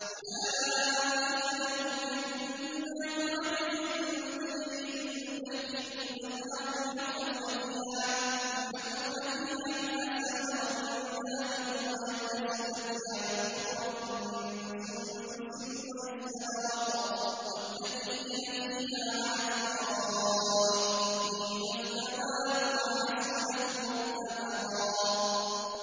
أُولَٰئِكَ لَهُمْ جَنَّاتُ عَدْنٍ تَجْرِي مِن تَحْتِهِمُ الْأَنْهَارُ يُحَلَّوْنَ فِيهَا مِنْ أَسَاوِرَ مِن ذَهَبٍ وَيَلْبَسُونَ ثِيَابًا خُضْرًا مِّن سُندُسٍ وَإِسْتَبْرَقٍ مُّتَّكِئِينَ فِيهَا عَلَى الْأَرَائِكِ ۚ نِعْمَ الثَّوَابُ وَحَسُنَتْ مُرْتَفَقًا